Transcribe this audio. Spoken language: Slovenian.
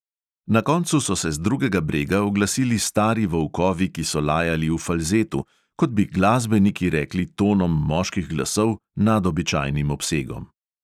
Na koncu so se z drugega brega oglasili stari volkovi, ki so lajali v falzetu, kot bi glasbeniki rekli tonom moških glasov nad običajnim obsegom ...